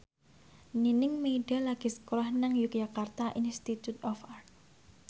Nining Meida lagi sekolah nang Yogyakarta Institute of Art